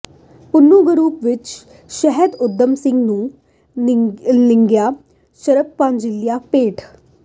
Pannu group ਵਿਖੇ ਸ਼ਹੀਦ ਊਧਮ ਸਿੰਘ ਨੂੰ ਨਿੱਘੀਆਂ ਸ਼ਰਧਾਂਜਲੀਆਂ ਭੇਟ